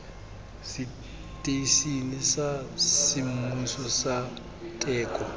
seteišene sa semmuso sa teko